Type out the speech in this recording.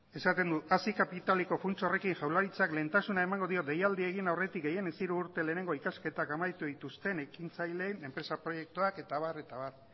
eta esaten du hazi kapitaleko funts horrekin jaurlaritzak lehentasuna emango dio deialdia egin aurretik gehienez hiru urte lehenengo ikasketak amaitu dituzten ekintzaileen enpresa proiektuak eta abar eta abar